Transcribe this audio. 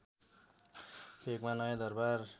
भेकमा नयाँ दरबार